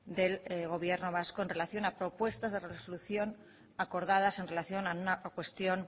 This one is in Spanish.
del gobierno vasco en relación a propuestas de resolución acordadas en relación a una cuestión